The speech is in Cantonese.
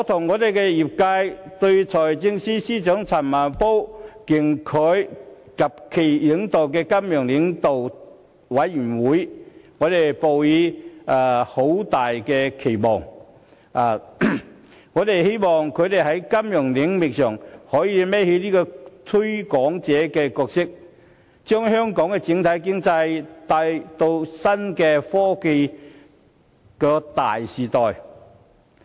我與業界對財政司司長陳茂波及其領導的金融領導委員會抱有很大期望，希望他們能在金融領域擔當"推廣者"的角色，將香港經濟帶進創新科技的大時代。